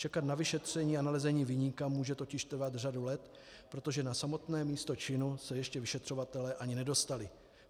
Čekat na vyšetření a nalezení viníka může totiž trvat řadu let, protože na samotné místo činu se ještě vyšetřovatelé ani nedostali.